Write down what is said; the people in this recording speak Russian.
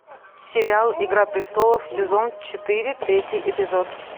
сериал игра престолов сезон четыре третий эпизод